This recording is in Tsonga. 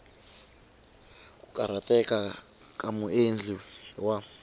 ku karhateka ka muendli wa